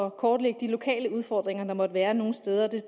at kortlægge de lokale udfordringer der måtte være nogle steder det